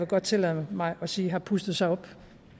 godt tillade mig at sige har pustet sig op